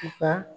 Nka